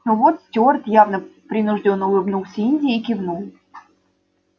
но вот стюарт явно принуждённо улыбнулся индии и кивнул